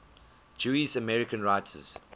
jewish american writers